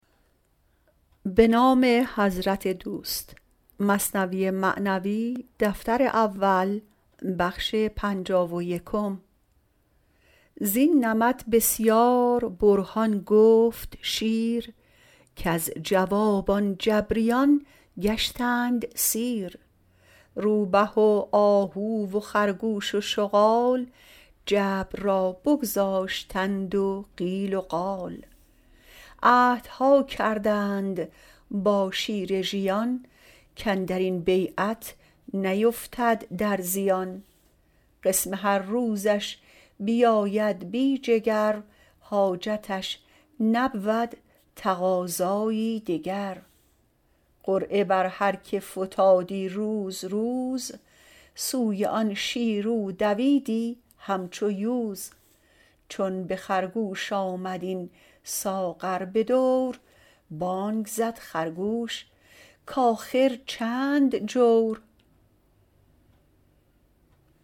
زین نمط بسیار برهان گفت شیر کز جواب آن جبریان گشتند سیر روبه و آهو و خرگوش و شغال جبر را بگذاشتند و قیل و قال عهدها کردند با شیر ژیان کاندرین بیعت نیفتد در زیان قسم هر روزش بیاید بی جگر حاجتش نبود تقاضایی دگر قرعه بر هر که فتادی روز روز سوی آن شیر او دویدی همچو یوز چون به خرگوش آمد این ساغر بدور بانگ زد خرگوش کاخر چند جور